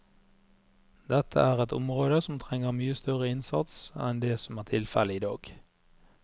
Dette er et område som trenger mye større innsats enn det som er tilfellet i dag.